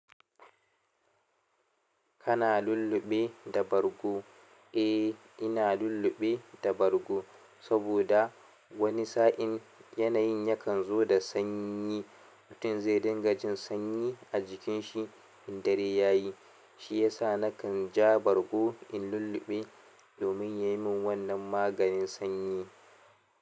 Kana lulluɓe da bargo? Eh, ina lulluɓe da bargo saboda wani sa'in yanayin yakan zo da sanyi. Mutum zai dinga jin sanyi a jikinshi in dare ya yi. Shi ya sa na kan ja bargo in lulluɓe domin ya yi min wannan maganin sanyi.